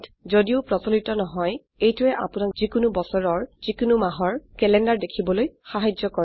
যদিও প্ৰচলিত নহয় এইটোৱে আপোনাক যিকোনো বছৰৰ যিকোনো মাহৰ ক্যালেন্ডাৰ দেখিবলৈ সাহায্য কৰে